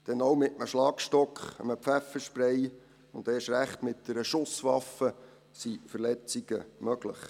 Denn auch mit einem Schlagstock, einem Pfefferspray und erst recht mit einer Schusswaffe sind Verletzungen möglich.